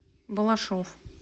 балашов